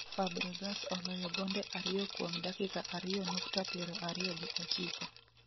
Fabregas oloyo gonde ariyo kuom dakika ariyo nukta 29